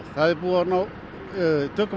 það er búið að ná tökum